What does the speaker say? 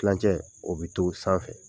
Tilancɛ, o bi to sanfɛ.